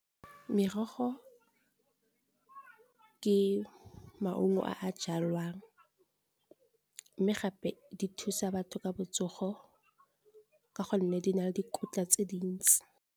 Merogo ke maungo a jalwang mme gape di thusa batho ka botsogo ka gonne di na le dikotla tse dintsi.